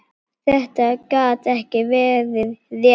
Þetta gat ekki verið rétt.